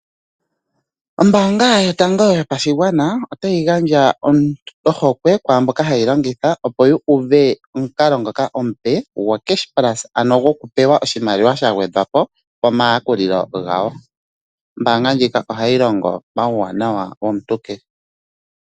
Ombaanga yotango yopashigwana ota yi gandja ohokwe kwaamboka ha ye yi longitha opo yu u ve omukalo ngoka omupe gwo CashPlus ano go ku pewa oshimaliwa sha gwedha po pomayakulilo gawo. Ombaanga ndjino oha yi longo pauwanawa womuntu kehe.